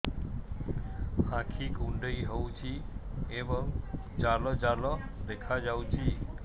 ଆଖି କୁଣ୍ଡେଇ ହେଉଛି ଏବଂ ଜାଲ ଜାଲ ଦେଖାଯାଉଛି